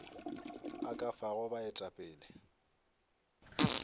o ka a fago baetapele